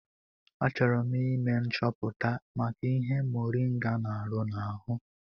Achọrọ m ime nchọpụta maka ihe moringa n'arụ n'ahụ.